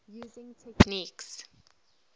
using techniques